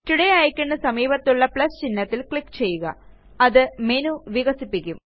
today iconന് സമീപത്തുള്ള plus ചിഹ്നത്തില് ക്ലിക്ക് ചെയ്യുക അത് മേനു വികസിപ്പിക്കും